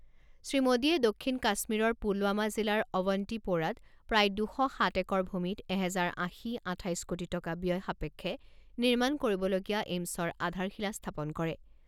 শ্ৰীমোডীয়ে দক্ষিণ কাশ্মীৰৰ পুলৱামা জিলাৰ অৱন্তিপ’ৰাত প্ৰায় দুশ সাত একৰ ভূমিত এহেজাৰ আশী আঠাইছ কোটি টকা ব্যয় সাপেক্ষে নিৰ্মাণ কৰিবলগীয়া এইমছৰ আধাৰশিলা স্থাপন কৰে।